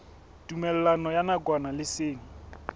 tumellano ya nakwana le seng